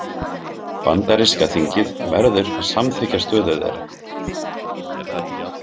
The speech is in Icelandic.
Bandaríska þingið verður að samþykkja stöðu þeirra.